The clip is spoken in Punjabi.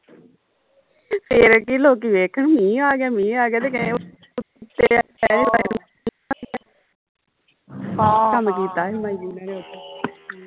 ਫਿਰ ਕੀ ਲੋਕੀ ਵੇਖਣ ਮੀਂਹ ਆ ਗਿਆ ਮੀਂਹ ਆ ਗਿਆ ਤੰਗ ਕੀਤਾ ਹੀ